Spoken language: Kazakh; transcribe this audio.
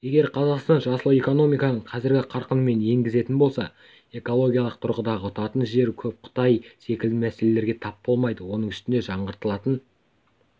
егер қазақстан жасыл экономиканы қазіргі қарқынымен енгізетін болса экологиялық тұрғыдан ұтатын жері көп қытай секілді мәселелерге тап болмайды оның үстіне жаңғыртылатын